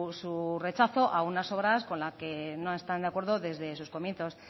su rechazo a unas obras con la que no están de acuerdo desde sus comienzos